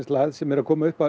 lægð sem er að koma